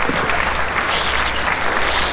eftir Friðrik Pál Jónsson